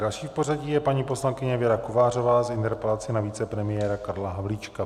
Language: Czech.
Další v pořadí je paní poslankyně Věra Kovářová s interpelací na vicepremiéra Karla Havlíčka.